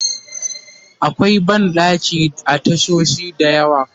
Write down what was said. akwai banɗaki a tashoshi da yawa